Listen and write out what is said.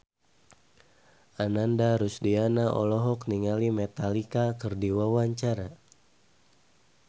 Ananda Rusdiana olohok ningali Metallica keur diwawancara